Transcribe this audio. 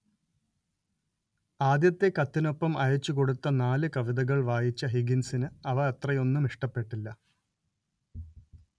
ആദ്യത്തെ കത്തിനൊപ്പം അയച്ചുകൊടുത്ത നാല് കവിതകൾ വായിച്ച ഹിഗിൻസിന് അവ അത്രയൊന്നും ഇഷ്ടപ്പെട്ടില്ല